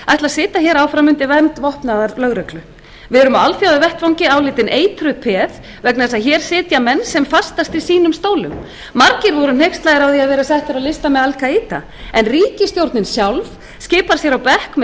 frúrnar ætla að sitja áfram undir vernd vopnaðrar lögreglu við erum á alþjóðavettvangi álitin eitruð peð vegna þess að hér sitja menn sem fastast í sínum stólum margir voru hneykslaðir á því að vera settir á lista með al quaita en ríkisstjórnin sjálf skipar sér á bekk með